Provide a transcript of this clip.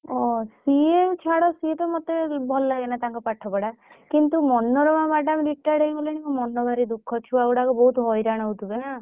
ଓହୋ! ସିଏ ଛାଡ ସିଏ ତ ମତେ ଭଲ ଲାଗେନା ତାଙ୍କ ପାଠ ପଢା କିନ୍ତୁ ମନୋରମା madam retired ହେଇଗଲେଣି ମୋ ମନ ଭାରି ଦୁଖ ଛୁଆ ଗୁଡାକ ବହୁତ ହଇରାଣ ହଉଥିବେ ନା।